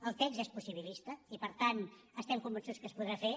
el text és possibilista i per tant estem convençuts que es podrà fer